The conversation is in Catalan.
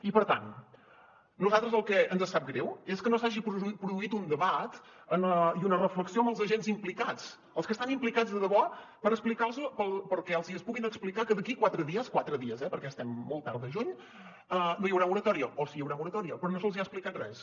i per tant a nosaltres el que ens sap greu és que no s’hagi produït un debat i una reflexió amb els agents implicats els que hi estan implicats de debò perquè els hi puguin explicar que d’aquí a quatre dies quatre dies eh perquè estem molt tard de juny no hi haurà moratòria o sí que hi haurà moratòria però no se’ls hi ha explicat res